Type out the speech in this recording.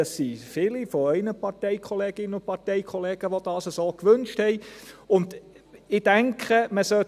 Es sind viele von Ihren Parteikolleginnen und Parteikollegen, welche dies so gewünscht haben.